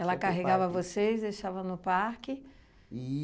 Ela carregava vocês, deixava no parque.